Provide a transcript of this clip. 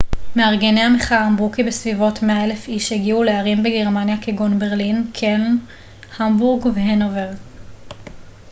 מארגני המחאה אמרו כי בסביבות 100,000 איש הגיעו לערים בגרמניה כגון ברלין קלן המבורג והנובר